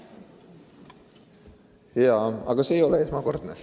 Aga see ei ole esmakordne.